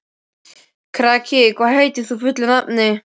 Kraki, hvað heitir þú fullu nafni?